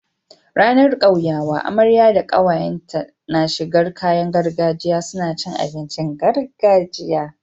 Ranar kyauyawa amarya da kawayen ta na shigar kayan gargajiya suna cin abincin gargajiya